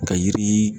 Ka yiri